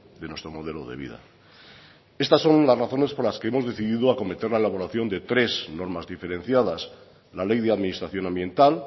de nuestro modelo de vida estas son las razones por las que hemos decidido acometer la elaboración de tres normas diferenciadas la ley de administración ambiental